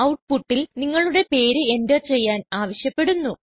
ഔട്ട്പുട്ടിൽ നിങ്ങളുടെ പേര് എന്റർ ചെയ്യാൻ ആവശ്യപ്പെടുന്നു